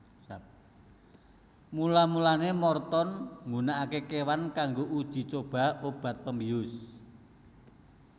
Mula mulane Morton nggunakake kewan kaggo uji coba obat pembius